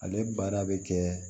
Ale baara bɛ kɛ